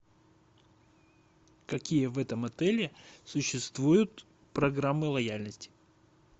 какие в этом отеле существуют программы лояльности